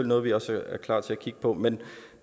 noget vi også er klar til at kigge på men